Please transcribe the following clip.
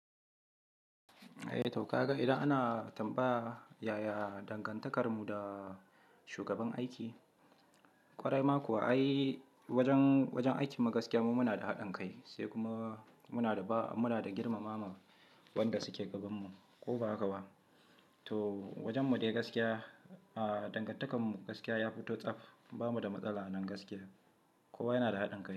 Eh to ka ga idan ana tambaya yaya dangantaka mu da shugaban aiki, ƙwarai ma kuwa ai wajen, wajen aikin mu gaskiya mu muna da haɗin kai sai kuma muna da ba, muna da girmamawa wanda suke gabanmu ko ba haka ba. To wajen mu dai gaskiya, a dangantakar mu gaskiya ya fito tsaf, ba mu da matsala nan gaskiya. Kowa yana da haɗin kai.